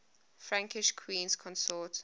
frankish queens consort